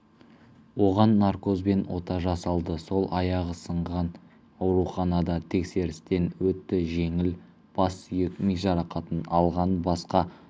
оған наркозбен ота жасалды сол аяғы сынған ауруханада тексерістен өтті жеңіл бассүйек ми жарақатын алған басқа